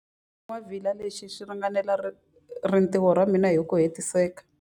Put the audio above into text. Xingwavila lexi xi ringanela rintiho ra mina hi ku hetiseka.